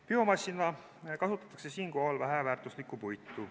Biomassina kasutatakse siinkohal väheväärtuslikku puitu.